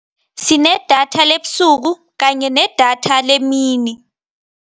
Sinedatha lebusuku kanye nedatha lemini.